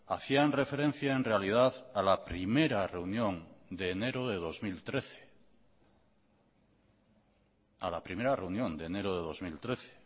hacían referencia en realidad a la primera reunión de enero de dos mil trece a la primera reunión de enero de dos mil trece